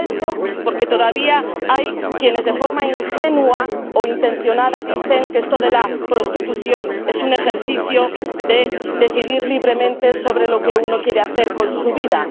Digo esto porque todavía hay quienes, de forma ingenua o intencionada, dicen que esto de la prostitución es un ejercicio de decidir libremente sobre lo que uno quiere hacer con su vida.